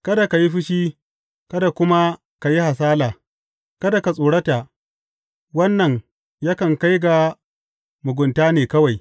Kada ka yi fushi kada kuma ka yi hasala; kada ka tsorata, wannan yakan kai ga mugunta ne kawai.